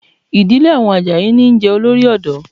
Ìdílé àwọn Àjàyí níí jẹ Olórí ọ̀dọ́